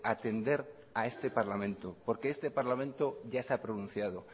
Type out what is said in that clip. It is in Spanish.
atender a este parlamento porque este parlamento ya se ha pronunciado